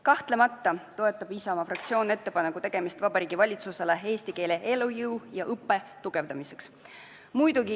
Kahtlemata toetab Isamaa fraktsioon otsuse "Ettepaneku tegemine Vabariigi Valitsusele eesti keele elujõu, arengu ja õppe tugevdamiseks" eelnõu.